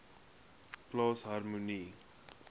plaas harmonie